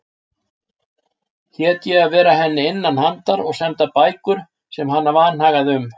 Hét ég að vera henni innanhandar og senda bækur sem hana vanhagaði um.